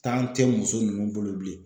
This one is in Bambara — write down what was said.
tɛ muso ninnu bolo bilen